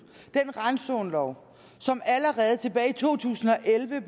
den randzonelov som allerede tilbage i to tusind og elleve